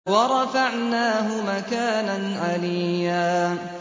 وَرَفَعْنَاهُ مَكَانًا عَلِيًّا